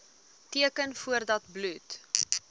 teken voordat bloed